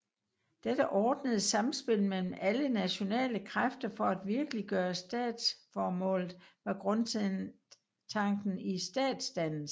Dette ordnede samspil mellem alle nationale kræfter for at virkeliggøre statsformålet var grundtanken i statsdannelsen